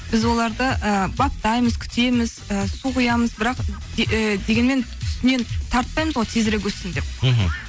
біз оларды ы баптаймыз күтеміз ііі су құямыз бірақ ііі дегенмен үстінен тартпаймыз ғой тезірек өссін деп мхм